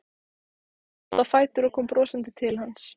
Spratt á fætur og kom brosandi til hans.